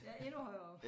Ja endnu højere oppe